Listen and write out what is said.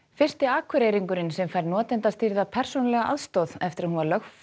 fyrsti Akureyringurinn sem fær notendastýrða persónulega aðstoð eftir að hún var lögfest